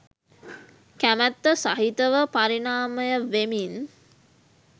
කැමැත්ත සහිතව පරිනාමයවෙමින්